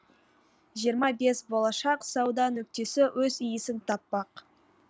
жиырма бес болашақ сауда нүктесі өз иесін таппақ